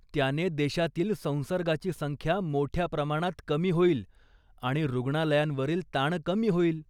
त्याने देशातील संसर्गाची संख्या मोठ्या प्रमाणात कमी होईल आणि रुग्णालयांवरील ताण कमी होईल.